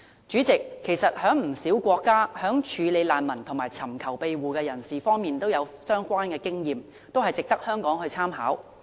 主席，不少國家在處理難民或尋求庇護人士的經驗，均值得香港參考。